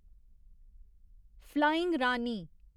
flying Rani